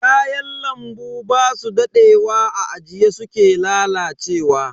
Kayan lambu basu dadewa a ajiye suke lalacewa.